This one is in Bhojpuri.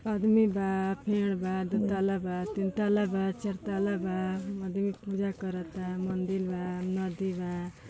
आदमी बा पेड़ बा दो तत्ला बा तीन तत्ला बा चार तत्ला बाआदमी पूजा करता मन्दिर बा नदी बा --